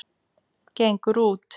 Gengur út.